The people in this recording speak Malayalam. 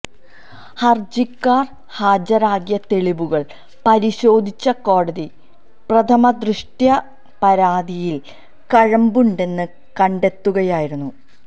ഹര്ജിക്കാരന് ഹാജരാക്കിയ തെളിവുകള് പരിശോധിച്ച കോടതി പ്രഥമദൃഷ്ട്യാ പരാതിയില് കഴമ്പുണ്ടെന്ന് കണ്ടെത്തുകയായിരുന്നു